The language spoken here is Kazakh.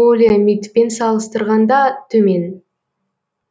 полиамидпен салыстырғанда төмен